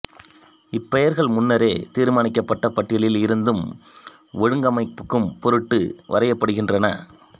இப்பெயர்கள் முன்னரே தீர்மானிக்கப்பட்ட பட்டியலில் இருந்து ஒழுங்கமைக்கும் பொருட்டு வரையப்படுகின்றன